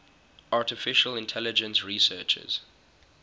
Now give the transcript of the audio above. artificial intelligence researchers